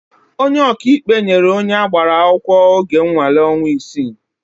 Onye ọkaikpe nyere onye agbara akwụkwọ oge nnwale ọnwa isii.